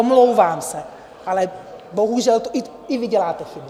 Omlouvám se, ale bohužel i vy děláte chyby.